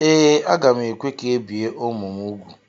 Ee, aga m ekwe ka ebie ụmụ m úgwù.